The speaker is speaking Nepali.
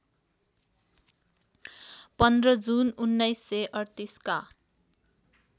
१५ जून १९३८ का